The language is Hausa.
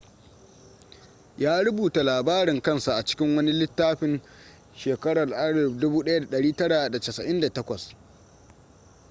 ya rubuta labarin kansa a cikin wani littafin 1998